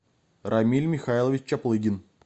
рамиль михайлович чаплыгин